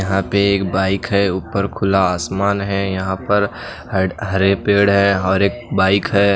यहां पे एक बाइक है ऊपर खुला आसमान है यहां पर हड हरे पेड़ है हौर एक बाइक है।